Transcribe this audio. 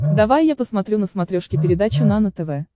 давай я посмотрю на смотрешке передачу нано тв